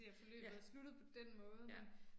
Ja. Ja